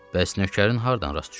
Bəs nökərin hardan rast düşüb?